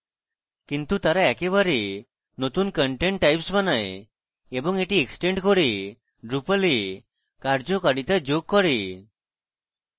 কিন্তু তারা একেবারে নতুন content types বানায় এবং এটি এক্সটেন্ড করে drupal এ কার্যকারিতা যোগ করে